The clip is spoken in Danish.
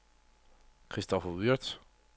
Kristoffer Würtz